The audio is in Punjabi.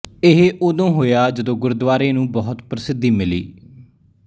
ਇਹ ਉਦੋਂ ਹੋਇਆ ਜਦੋਂ ਗੁਰਦੁਆਰੇ ਨੂੰ ਬਹੁਤ ਪ੍ਰਸਿੱਧੀ ਮਿਲੀ